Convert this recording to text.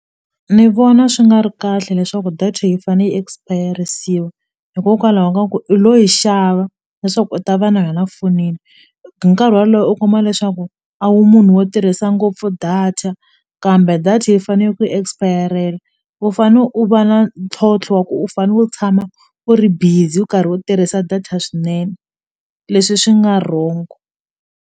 Ni vona swi nga ri kahle leswaku data yi fane yi expere-risiwa hikokwalaho ka ku i lo yi xava leswaku u ta va na yona fonini hi nkarhi wolowo u kuma leswaku a wu munhu wo tirhisa ngopfu data kambe data yi fane ku yi expire-rela u fane u va na ntlhontlho wa ku u fane u tshama u ri busy u karhi u tirhisa data swinene leswi swi nga wrong.